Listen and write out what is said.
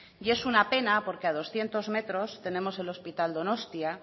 es una pena porque a doscientos metros tenemos el hospital donostia